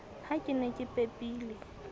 ha ke ne ke pepile